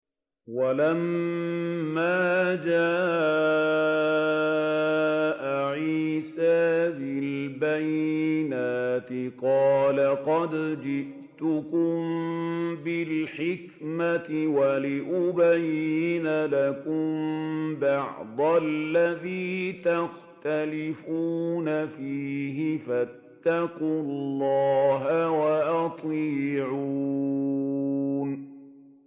وَلَمَّا جَاءَ عِيسَىٰ بِالْبَيِّنَاتِ قَالَ قَدْ جِئْتُكُم بِالْحِكْمَةِ وَلِأُبَيِّنَ لَكُم بَعْضَ الَّذِي تَخْتَلِفُونَ فِيهِ ۖ فَاتَّقُوا اللَّهَ وَأَطِيعُونِ